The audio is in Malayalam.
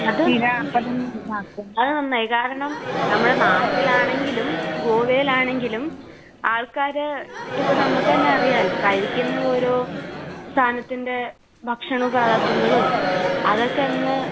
അത് നന്നായി. കാരണം നമ്മുടെ നാട്ടിലാണെങ്കിലും ഗോവയിലാണെങ്കിലും ആൾകാർ ഇപ്പോ നമുക്ക് തന്നെ അറിയാലോ കഴിക്കുന്ന ഓരോ സാധനത്തിന്റെ ഭക്ഷണ അതൊക്കെയങ്ങ്